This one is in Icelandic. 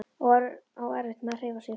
Á erfitt með að hreyfa sig.